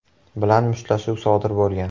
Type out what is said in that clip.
bilan mushtlashuv sodir bo‘lgan.